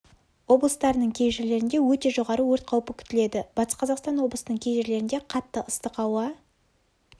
облыстарының кей жерлерінде өте жоғары өрт қаупі күтіледі батыс-қазақстан облысының кей жерлерінде қатты ыстық ауа